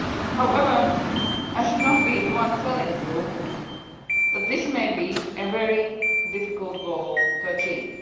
However, I should not be the one telling you that this may be a very difficult goal to achieve.